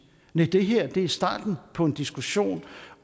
næh det her er starten på en diskussion